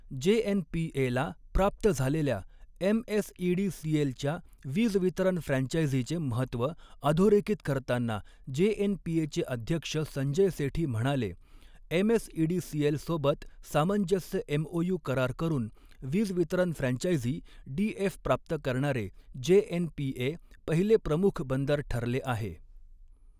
जेएनपीएला प्राप्त झालेल्या एमएसईडीसीएलच्या वीज वितरण फ्रँचायझीचे महत्त्व अधोरेखित करताना जेएनपीएचे अध्यक्ष संजय सेठी म्हणाले, एमएसईडीसीएलसोबत सामंजस्य एमओयू करार करून वीज वितरण फ्रँचायझी डीएफ प्राप्त करणारे जेएनपीए पहिले प्रमुख बंदर ठरले आहे.